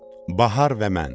Bahar və mən.